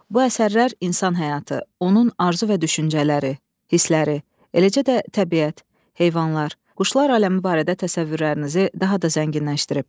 Bu əsərlər insan həyatı, onun arzu və düşüncələri, hissləri, eləcə də təbiət, heyvanlar, quşlar aləmi barədə təsəvvürlərinizi daha da zənginləşdirib.